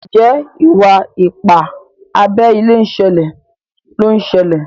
Njé Iwa-ipa abé ilé ṣẹlẹ ló ń ṣẹlẹ?